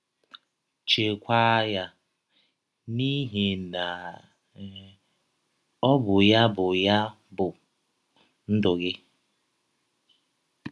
Chekwaa ya, n’ihi na um ọ bụ ya bụ ya bụ ndụ gị. ”